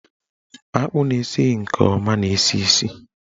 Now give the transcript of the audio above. Akpụ na-esighi nke ọma na-esi isi.